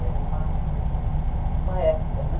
Era uma uma época, né?